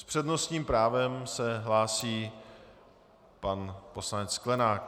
S přednostním právem se hlásí pan poslanec Sklenák.